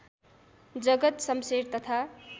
जगत सम्शेर तथा